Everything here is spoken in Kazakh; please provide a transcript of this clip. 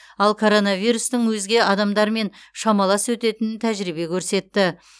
ал коронавирустың өзге адамдармен шамалас өтетінін тәжірибе көрсетті